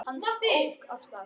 Hann ók af stað.